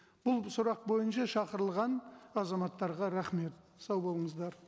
бұл сұрақ бойынша шақырылған азаматтарға рахмет сау болыңыздар